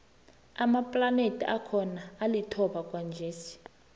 amaplanethi akhona alithoba kwanjesi